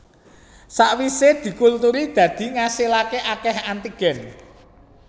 Sakwise dikultur dadi ngasilaké akeh antigen